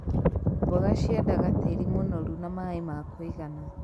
Mboga ciendaga tĩri mũnoru na maĩ ma kũigana.